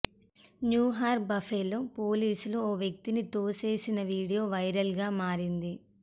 New York Buffalo పోలీసులు ఓ వ్యక్తిని తోసేసిన వీడియో వైరల్గా మారింది